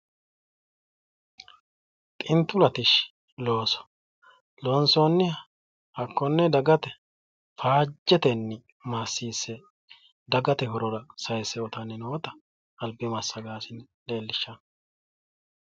xintu latishshi looso loonsoonniha hakkonne dagate faajjetenni maassiisse dagate horora sayiisse uyiitanni noota albi massagaasine leellishshanno.